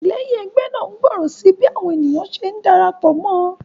Àtìléyìn egbé náà ngbòrò sí bí àwon ènìyàn se ndarapò mó